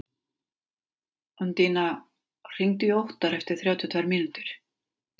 Undína, hringdu í Óttar eftir þrjátíu og tvær mínútur.